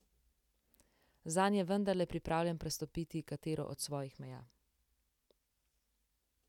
Zanj je vendarle pripravljen prestopiti katero od svojih meja.